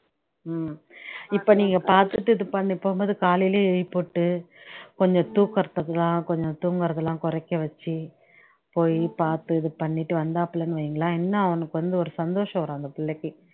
உம் இப்ப நீங்க பாத்துட்டு இதுபண்ணீ போகும்போது காலையிலயே எழுப்பிவிட்டு கொஞ்சம் தூக்குறத்துக்குலா கொஞ்சம் தூங்குறதுலாம் குறைக்க வச்சு போய் பாத்து இதுபண்ணீட்டு வந்தாப்லன்னு வைங்கலேன் இன்னும் அவனுக்கு வந்து ஒரு சந்தோஷம் வரும் அந்த பிள்ளைக்கு